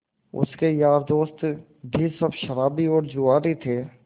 उसके यार दोस्त भी सब शराबी और जुआरी थे